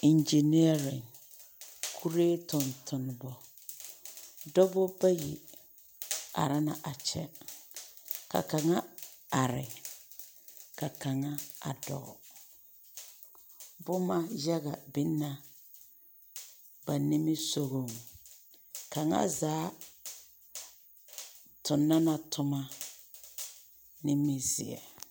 Eŋgyeneԑre, kuree tontonemͻ. Dͻbͻ bayi are la a kyԑ, ka kaŋa are ka kaŋa dͻͻ. Boma yaga biŋ na ba nimisogͻŋ. Kaŋazaa tona la toma nimizeԑ.